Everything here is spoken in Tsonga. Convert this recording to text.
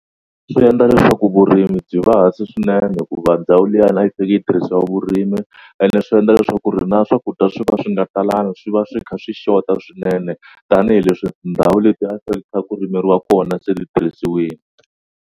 Swi endla leswaku vurimi byi va hansi swinene hikuva ndhawu liyani a yi faneke yi tirhisiwa vurimi ene swi endla leswaku ku ri na swakudya swi va swi nga talangi swi va swi kha swi xota swinene tanihileswi tindhawu leti a ku fanele kha ku rimeriwa kona se ti tirhisiwini.